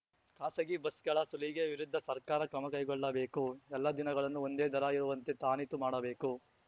ಖಾಸಗಿ ಬಸ್‌ಗಳ ಸುಲಿಗೆ ವಿರುದ್ಧ ಸರ್ಕಾರ ಕ್ರಮಕೈಗೊಳ್ಳಬೇಕು ಎಲ್ಲಾ ದಿನಗಳನ್ನೂ ಒಂದೇ ದರ ಇರುವಂತೆ ತಾಖೀತು ಮಾಡಬೇಕು